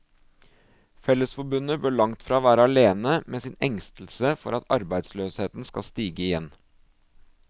Fellesforbundet bør langtfra være alene med sin engstelse for at arbeidsløsheten skal stige igjen.